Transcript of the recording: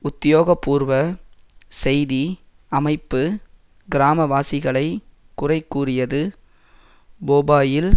உத்தியோகபூர்வ செய்தி அமைப்பு கிராம வாசிகளைக் குறைகூறியது போபாயில்